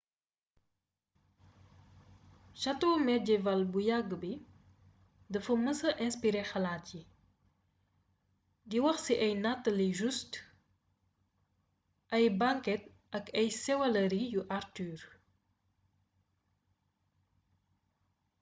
sato mejewaal bu yagg bi dafa mësa inspiré xalaat yi di wax ci ay nataali joustes ay banket ak ay sëwalëri yu arthur